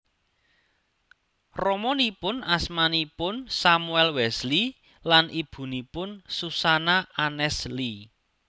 Ramanipun asmanipun Samuel Wesley lan ibunipun Susanna Annesley